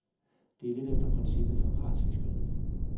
Det er lidt efter princippet fra partsfiskeriet.